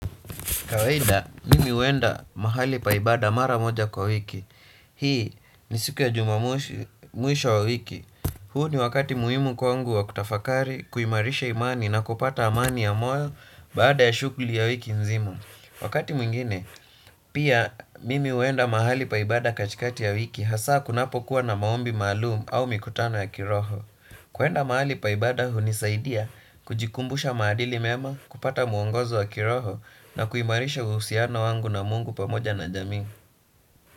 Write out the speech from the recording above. Kawaida, mimi huenda mahali pa ibada mara moja kwa wiki. Hii ni siku ya jumamosi mwisho wa wiki. Huu ni wakati muhimu kwangu wa kutafakari, kuimarisha imani na kupata amani ya moyo baada ya shughuli ya wiki nzima. Wakati mwingine, pia mimi huenda mahali pa ibada katikati ya wiki hasa kunapokuwa na maombi maalumu au mikutano ya kiroho. Kwenda mahali pa ibada hunisaidia kujikumbusha madili mema, kupata muongozo wa kiroho na kuimarisha uhusiano wangu na mungu pamoja na jamii.